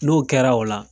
N'o kɛra o la